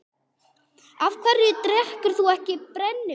Af hverju drekkur þú ekki brennivínið?